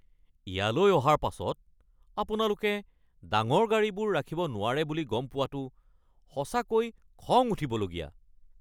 ইয়ালৈ অহাৰ পাছত আপোনালোকে ডাঙৰ গাড়ীবোৰ ৰাখিব নোৱাৰে বুলি গম পোৱাটো সঁচাকৈ খং উঠিবলগীয়া।